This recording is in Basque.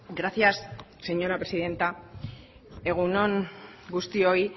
gracias señora presidenta egun on guztioi